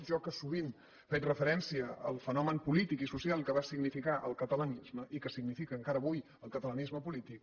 jo que sovint faig referència al fenomen polític i social que va significar el catalanisme i que significa encara avui el catalanisme polític